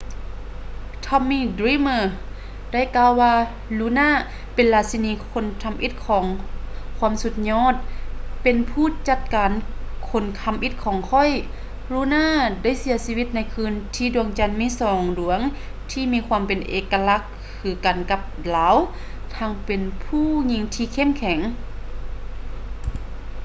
tommy dreamer ໄດ້ກ່າວວ່າ luna ເປັນລາຊິນີຄົນທຳອິດຂອງຄວາມສຸດຍອດ ເປັນຜູ້ຈັດການຄົນທຳອິດຂອງຂ້ອຍ luna ໄດ້ເສຍຊີວິດໃນຄືນທີ່ດວງຈັນມີສອງດວງທີ່ມີຄວາມເປັນເອກະລັກຄືກັນກັບລາວ ທັງເປັນຜູ້ຍິງທີ່ເຂັ້ມແຂງ